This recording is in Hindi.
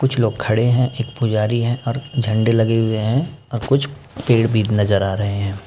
कुछ लोग खड़े है। एक पुजारी है और झंडे लगे हुए है और कुछ पेड़ भी नज़र आ रहे है।